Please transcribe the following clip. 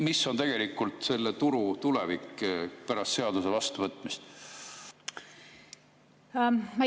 Mis on tegelikult selle turu tulevik pärast seaduse vastuvõtmist?